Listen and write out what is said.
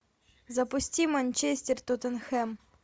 запусти манчестер тоттенхэм